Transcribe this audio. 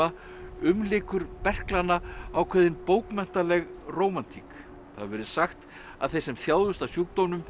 umlykur berklana ákveðin bókmenntaleg rómantík það hefur verið sagt að þeir sem þjáðust af sjúkdómnum